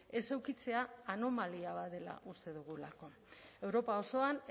ez edukitzea anomalia bat dela uste dugulako europa osoan